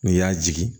N'i y'a jigin